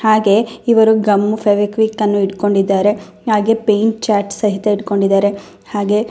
ಹಾಗೆ ಇವರು ಗಮ್ಮು ಫೆವಿಕ್ವಿಕನ್ನು ಇಡ್ಕೊಂಡಿದ್ದಾರೆ ಹಾಗೆ ಪೈಂಟ್ ಚಾರ್ಟ್ ಸಹ ಇಡ್ಕೊಂಡಿದ್ದಾರೆ. ಹಾಗೆ--